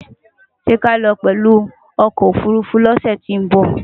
Sé kii alo pęlú okò òfurufú ni òsę tín bò?